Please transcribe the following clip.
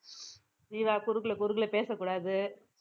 ஜீவா குறுக்குல குறுக்குல பேசக்கூடாது